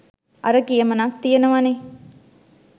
අර කියමනක් තියනවනෙ